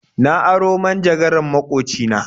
Na aro manjagaran maƙoci na.